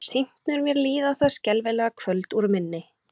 Seint mun mér líða það skelfilega kvöld úr minni.